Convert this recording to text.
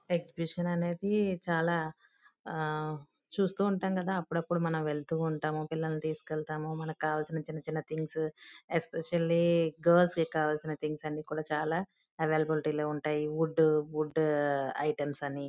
exhibition అనేది చాలా ఆ చూస్తూ ఉంటాం కదా అప్పుడప్పుడు మనఁవెళ్తూ ఉంటాము పిల్లల్ని తీసుకెళ్లాము మనకి కావల్సిన చిన్న చిన్న థింగ్స్ యూ ఎక్స్పెషల్లీ గర్ల్స్ కి కావాల్సిన చిన్న థింగ్స్ అన్ని చాల అవైలబిలిటీ ఉంటాయి వుడ్-వుడ్ ఐటమ్స్ అని--